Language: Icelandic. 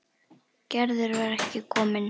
Gerður var ekki komin.